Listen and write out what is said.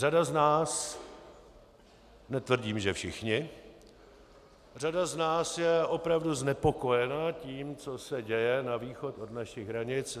Řada z nás, netvrdím, že všichni, řada z nás je opravdu znepokojena tím, co se děje na východ od našich hranic.